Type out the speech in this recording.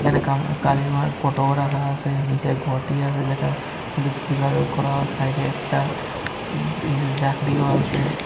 এখানে কাম কালী মার ফটোও রাহা আসে নিসে ঘটি আসে যেটার মধ্যে পূজার করা হয় সাইডে একটা সি যে জাকরিও আসে।